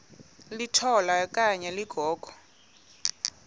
litola okanye ligogo